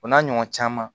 O n'a ɲɔgɔn caman